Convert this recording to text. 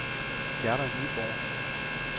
Gerda Nyborg